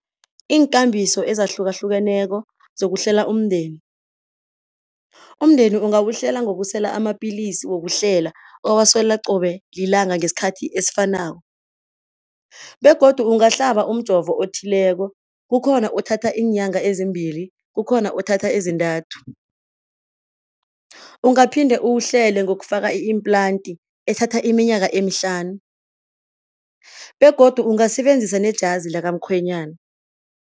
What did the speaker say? Iinkambiso ezahlukahlukeneko zokuhlela umndeni, umndeni ungawuhlela ngokusela amapilisi wokuhlela owasela qobe lilanga ngesikhathi esifanako begodu ungahlaba umjovo othileko, kukhona othatha iinyanga ezimbili, kukhona othatha ezintathu. Ungaphinde uwuhlele ngokufaka i-implant ethatha iminyaka emihlanu begodu ungasebenzisa nejazi lakamkhwenyana.